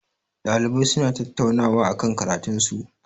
Ɗalibai suna tattaunawa akan karatun su.